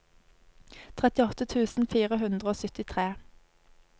trettiåtte tusen fire hundre og syttitre